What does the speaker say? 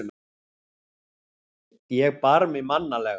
Ég bar mig mannalega.